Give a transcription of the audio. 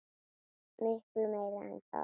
Miklu meira en það.